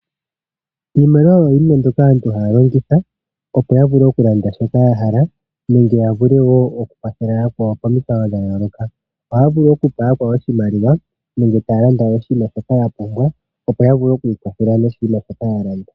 Iimaliwa oyo yimwe ndjoka aantu haalongitha opo yavule yalande shoka yahala nenge yavule okukwathela yakwawo momikalo dhayolokathana. Aantu ohaavulu okupa yakwawo iimaliwa nenge taalanda oshinima shoka yapumbwa opo yavule okwiikwatha noshinima shoka yalanda.